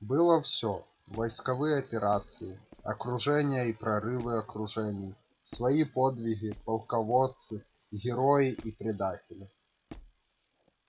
было всё войсковые операции окружения и прорывы окружений свои подвиги полководцы герои и предатели